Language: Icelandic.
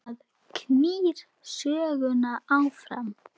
Það knýr söguna áfram